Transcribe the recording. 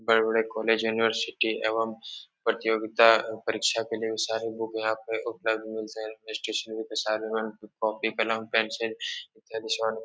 बड़े-बड़े college university एवं प्रतियोगिता अ परीक्षा के लिए सारे बुक यहाँ पे उपलब्ध मिलते हैं। स्टेशनरी के सारे कॉपी कलम पेंसिल इत्यादि --